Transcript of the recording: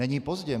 Není pozdě.